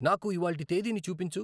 నాకు ఇవాళ్టి తేదీని చూపించు